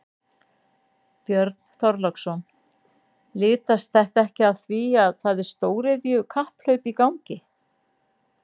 Björn Þorláksson: Litast þetta ekki af því að það er stóriðju kapphlaup í gangi?